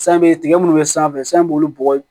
San bɛ tigɛ munnu bɛ sanfɛ san b'olu bɔgɔ